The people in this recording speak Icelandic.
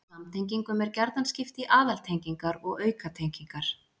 Samtengingum er gjarnan skipt í aðaltengingar og aukatengingar.